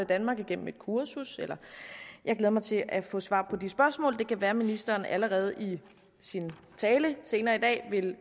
danmark igennem et kursus jeg glæder mig til at få svar på de spørgsmål det kan være at ministeren allerede i sin tale senere i dag